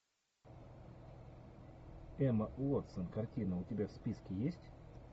эмма уотсон картина у тебя в списке есть